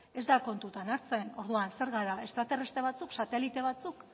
ez da kontutan hartzen orduan zer gara estraterrestre batzuk satelite batzuk